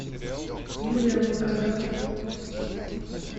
юлия волкодав